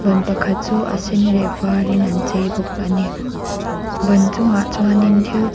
ban pakhat chu a sen leh a var in an chei bawk a ni ban chung ah chuan thil chei--